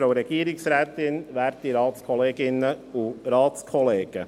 Kommissionspräsident der FiKo.